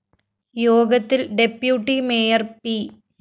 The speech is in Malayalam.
യോഗത്തില്‍ ഡെപ്യൂട്ടി മേയർ പി